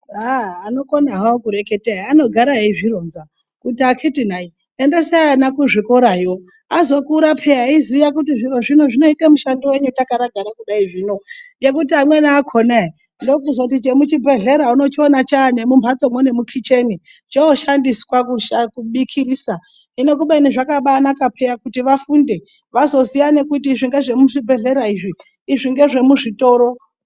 Aaah anokona hawo kureketae anogara ezvironza kuti akhiti na endesai vana kuzvikora yo azokura peya eiziya kuti zviro zvinoita mushandowei takagara kudai zvino nekuti amweni akhonae ndokuzoti chemuzvibhedhleya unochiona chamo mumhatsomo nemukicheni choshandiswa kubikisa. Hino kubeni zvakabanaka peya kuti vafunde vazoziya kuti izvi ndezvemuzvibhedhlera izvi ndezvemuzvitoro.